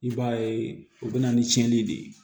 I b'a ye u bɛ na ni tiɲɛni de ye